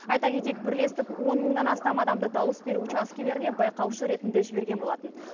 айта кетейік бірлестік он мыңнан астам адамды дауыс беру учаскелеріне байқаушы ретінде жіберген болатын